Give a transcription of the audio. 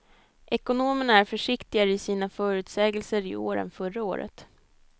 Ekonomerna är försiktigare i sina förutsägelser i år än förra året.